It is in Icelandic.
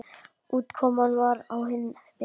Útkoman var á hinn veginn.